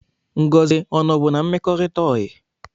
Ngozi ọ nọ bụ n'mmekorita oyi?